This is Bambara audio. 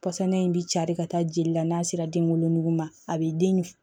Pɔsɔn in bɛ cari ka taa jeli la n'a sera den wolonugu ma a bɛ den